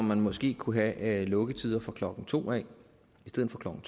man måske kunne have lukketider fra klokken to i stedet for klokken